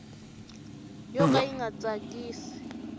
yo ka yi nga tsakisi